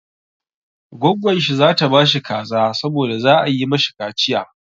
Gwaggon shi za ta ba shi kaza saboda za a yi mashi kaciya.